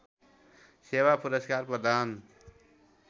सेवा पुरस्कार प्रदान